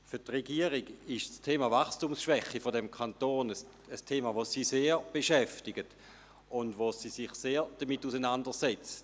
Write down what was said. Für die Regierung ist die Wachstumsschwäche des Kantons ein Thema, welches sie sehr beschäftigt, und mit welchem sie sich sehr stark auseinandersetzt.